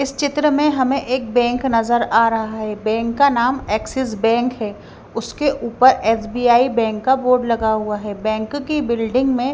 इस चित्र में हमें एक बैंक नजर आ रहा है बैंक का नाम एक्सिस बैंक है उसके ऊपर एस_बी_आई बैंक का बोर्ड लगा हुआ है बैंक की बिल्डिंग में--